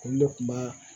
Olu de kun b'a